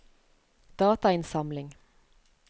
datainnsamling